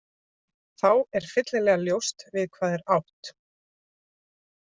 Þá er fyllilega ljóst við hvað er átt.